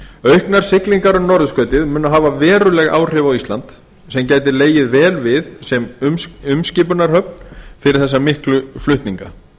auknar siglingar um norðurskautið munu hafa haft veruleg áhrif á ísland sem gæti legið vel við sem umskipunarhöfn fyrir þessa miklu flutninga